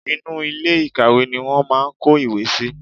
Inú ilé ìkàwé ni wọ́n máà ń kó ìwé síi.